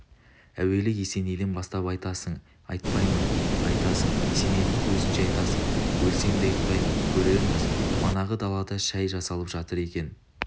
әуелі есенейден бастап атайсың айтпаймын айтасың есенейдің көзінше айтасың өлсем де айтпаймын көрерміз манағы далада шай жасалып жатыр екен